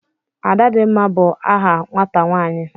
Adadimma is a name a girl child.